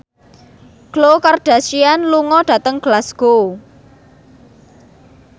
Khloe Kardashian lunga dhateng Glasgow